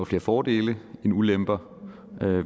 flere fordele end ulemper